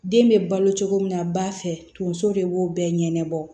Den bɛ balo cogo min na ba fɛ tonso de b'o bɛɛ ɲɛnɛbɔ